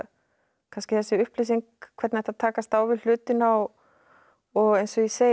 kannski þessi upplýsing hvernig ætti að takast á við hlutina og og eins og ég segi